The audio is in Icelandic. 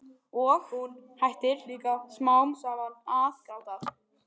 Og hún hættir líka smám saman að gráta.